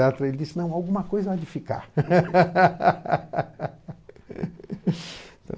ele disse não, alguma coisa há de ficar.